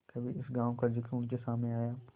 कभी इस गॉँव का जिक्र उनके सामने आया